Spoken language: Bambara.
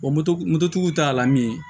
Wa moto moto tigiw t'a la min ye